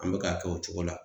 An be ka kɛ o cogo la.